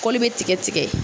Kɔli bɛ tigɛtigɛ.